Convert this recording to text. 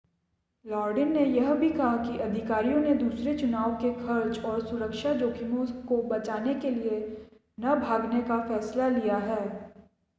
लॉडिन ने यह भी कहा कि अधिकारियों ने दूसरे चुनाव के खर्च और सुरक्षा जोखिम को बचाने के लिए न भागने का फैसला लिया है